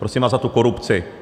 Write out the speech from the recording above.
Prosím vás za tu korupci.